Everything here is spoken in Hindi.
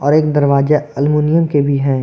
एक दरवाजा अलमुनियम के भी हैं।